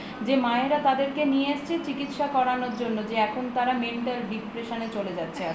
যে মায়েরা তাদেরকে নিয়ে এসেছে চিকিত্সা করানোর জন্য যে এখন তারা mental depression এ চলে যাচ্ছে আসতে আসতে